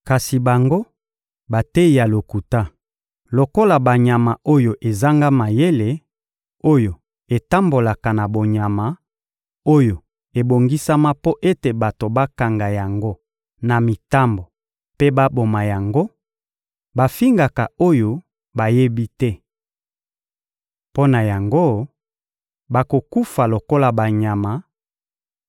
Kasi bango, bateyi ya lokuta, lokola banyama oyo ezanga mayele, oyo etambolaka na bonyama, oyo ebongisama mpo ete bato bakanga yango na mitambo mpe baboma yango, bafingaka oyo bayebi te. Mpo na yango, bakokufa lokola banyama,